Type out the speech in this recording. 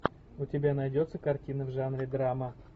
у тебя найдется картина в жанре драма